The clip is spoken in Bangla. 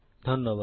ধন্যবাদ